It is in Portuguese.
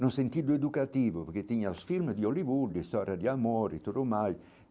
No sentido educativo, porque tinha os filmes de Hollywood, história de amor, e tudo mais.